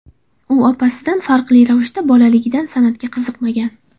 U opasidan farqli ravishda bolaligidan san’atga qiziqmagan.